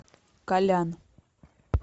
колян